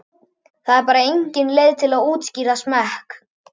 Það er bara engin leið að útskýra smekk.